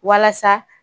Walasa